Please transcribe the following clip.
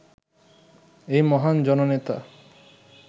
এই মহান জননেতা